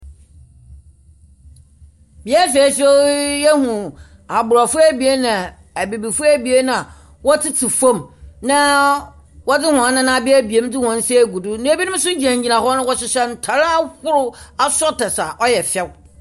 yɛhunu Abrɔfo ebien na Ebibifo ebien na wɔtsetse fam, na wɔdze hɔn nan abeabaea mu dze hɔn nsa agugu do. Na binom nso gyinagyina hɔ na wɔhyehyɛ ntar ahorow a ɔyɛ fɛw.